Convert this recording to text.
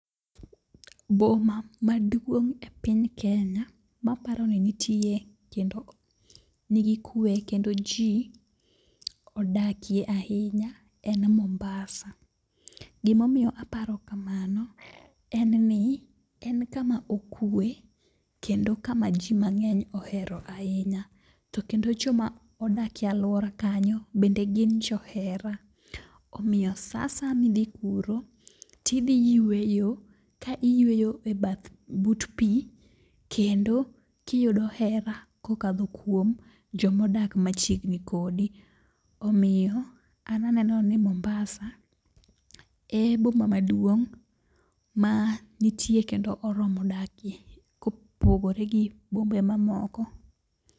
Boma maduong' e piny Kenya maparo ni nitiye kendo nigi kuwe kendo ji odakie ahinya en Mumbasa. Gimomiyo aparo kamano en ni en kama okue kendo kama ji mang'eny ohero ahinya, kendo joma odakie alwora kanyo bende gin johera. Omiyo sa asaya midhi kuro tidhi yweyo, ka iyweyo e bath but pi kendo kiyudo hera kokadho kuom jomodak machiegni kodi. Omiyo an aneno ni Mumbasa e boma maduong' ma nitie kendo oromo dakie ko pogore gi bombe ma moko.